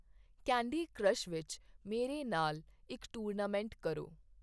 candy crush ਵਿੱਚ ਮੇਰੇ ਨਾਲ ਇੱਕ ਟੂਰਨਾਮੈਂਟ ਕਰੋ